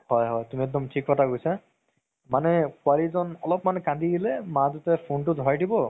হয় হয় তুমি একদম থিক কথা কৈছা মানে পোৱালিজন অলপমান কান্দি দিলে মাকে phone তো ধৰাই দিব